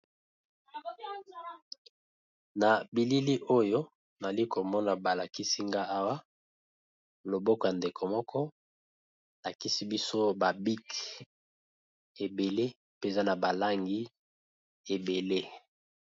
Na bilili oyo, nali komona balakisinga awa, loboko ya ndeko moko alakisi biso ; ba bik ebele mpenza na balangi ebele.